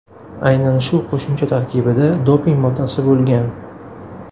Aynan shu qo‘shimcha tarkibida doping moddasi bo‘lgan.